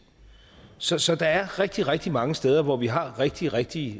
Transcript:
så så der er rigtig rigtig mange steder hvor vi har rigtige rigtige